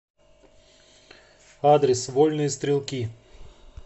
адрес вольные стрелки